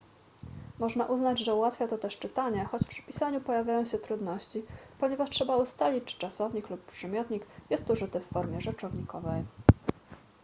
można uznać że ułatwia to też czytanie choć przy pisaniu pojawiają się trudności ponieważ trzeba ustalić czy czasownik lub przymiotnik jest użyty w formie rzeczownikowej